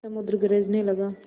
समुद्र गरजने लगा